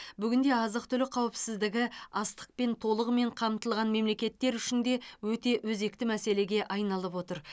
бүгінде азық түлік қауіпсіздігі астықпен толығымен қамтылған мемлекеттер үшін де өте өзекті мәселеге айналып отыр